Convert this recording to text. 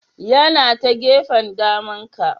Yana ta gefen daman ka.